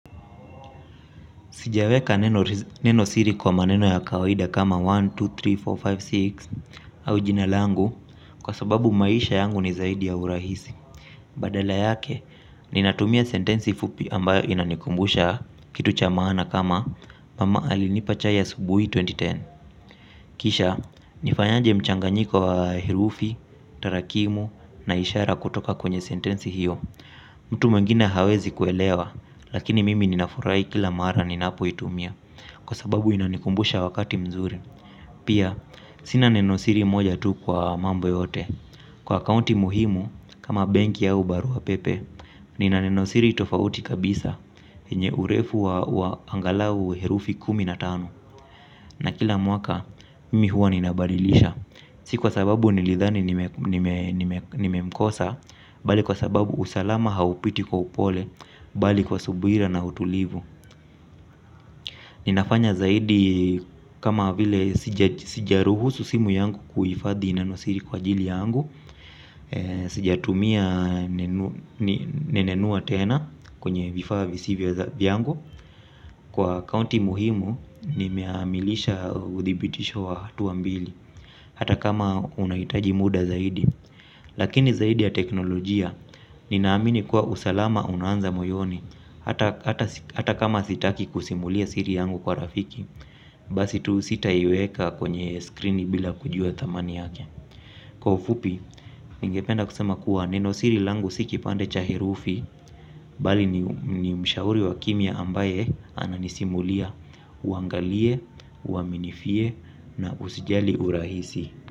Sijaweka neno siri kwa maneno ya kawaida kama moja, mbili, tatu, nne, tano, sita au jina langu kwa sababu maisha yangu ni zaidi ya urahisi. Badala yake, ninatumia sentensi fupi ambayo inanikumbusha kitu cha maana kama mama alinipa chai asubuhi elfu mbili na kumi. Kisha, nifanyaje mchanganyiko wa herufi, tarakimu na ishara kutoka kwenye sentensi hiyo. Mtu mwengine hawezi kuelewa, lakini mimi ninafurahi kila mara ninapo itumia. Kwa sababu inanikumbusha wakati mzuri. Pia sina nenosiri moja tu kwa mambo yote. Kwa akaunti muhimu kama benki au barua pepe nina nenosiri tofauti kabisa lenye urefu wa angalau herufi kumi na tano. Na kila mwaka mimi huwa ninabadilisha. Si kwa sababu nilidhani nimemkosa. Bali kwa sababu usalama haupiti kwa upole. Bali kwa subwira na utulivu. Ninafanya zaidi kama vile sija ruhusu simu yangu kuhifadhi nanosiri kwa ajili yangu. Sijatumia ninenua tena kwenye vifaa visivyo vyangu. Kwa akaunti muhimu nimea amilisha udhibitisho wa hatua mbili hata kama unahitaji muda zaidi lakini zaidi ya teknolojia ninaamini kuwa usalama unaanza moyoni. Hata kama sitaki kusimulia siri yangu kwa rafiki basi tu sita iweka kwenye screen bila kujua thamani yake. Kwa ufupi, ningependa kusema kuwa neno siri langu si ki lpande cha herufi. Bali ni mshauri wa kimya ambaye ananisimulia. Uangalie, uaminifie na usijali urahisi.